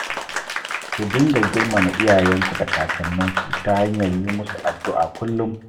Ku dinga girmama iyayenku da kakanninku ta hanyar yi musu addu'a kullum